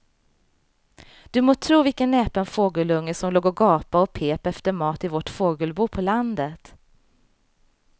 Du må tro vilken näpen fågelunge som låg och gapade och pep efter mat i vårt fågelbo på landet.